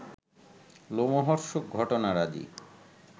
লোমহর্ষক ঘটনারাজি